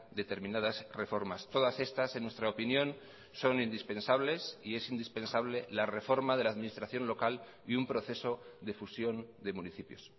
determinadas reformas todas estas en nuestra opinión son indispensables y es indispensable la reforma de la administración local y un proceso de fusión de municipios